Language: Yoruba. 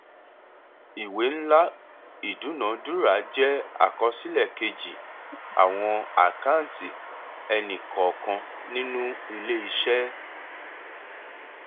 ìwé ńlá ìdúnadúrà jẹ àkọsílẹ kejì àwọn àkáǹtì ẹni kọọkan nínú iléiṣẹ